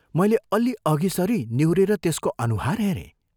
मैले अल्लि अघि सरी निहुरेर त्यसको अनुहार हेरें।